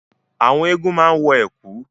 Àwọn Egúngún máa ń wọ ẹ̀kú.